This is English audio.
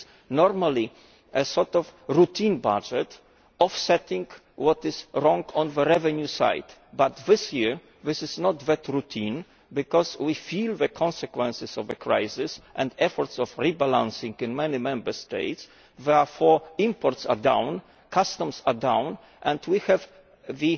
This is normally a sort of routine budget, offsetting what is wrong on the revenue side, but this year it is not that routine, because we feel the consequences of the crisis and efforts of rebalancing in many Member States. Therefore, imports are down, customs are down and we have